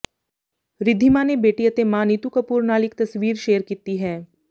ਰਿਧਿਮਾ ਨੇ ਬੇਟੀ ਅਤੇ ਮਾਂ ਨੀਤੂ ਕਪੂਰ ਨਾਲ ਇਕ ਤਸਵੀਰ ਸ਼ੇਅਰ ਕੀਤੀ ਹੈ